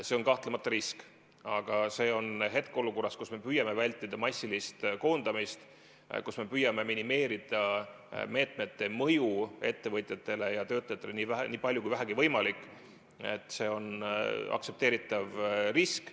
See on kahtlemata risk, aga see on hetkeolukorras, kus me püüame vältida massilist koondamist, kus me püüame minimeerida meetmete mõju ettevõtjatele ja töötajatele nii palju, kui vähegi võimalik, aktsepteeritav risk.